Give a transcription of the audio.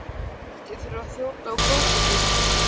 Ég held ég þurfi að þjóta á klósettið.